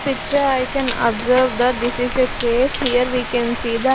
Picture i can observe that this is a cafe here we can see tha--